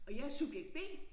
Og jeg subjekt B